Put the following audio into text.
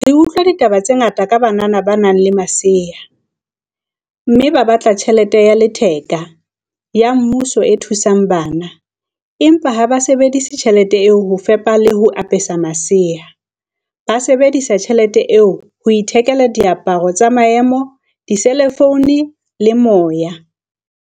Re utlwa ditaba tse ngata ka banana ba nang le masea, mme ba batla tjhelete ya letheka, ya mmuso e thusang bana - empa ha ba sebedise tjhelete eo ho fepa le ho apesa masea - ba sebedisa tjhelete eo ho ithekela diaparo tsa maemo, diselefoune le moya, air-time.